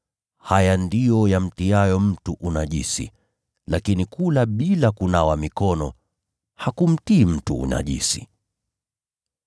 Haya ndiyo yamtiayo mtu unajisi; lakini kula bila kunawa mikono hakumtii mtu unajisi.”